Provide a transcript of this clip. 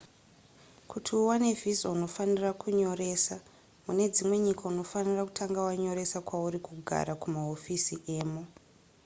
kuti uwane visa unofanira kunyoresa mune dzimwe nyika unofanira kutanga wanyoresa kwauri kugara kumahofisi emo